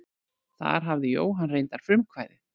Þar hafði Jóhann reyndar frumkvæðið.